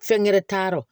Fɛn gɛrɛ t'a rɔ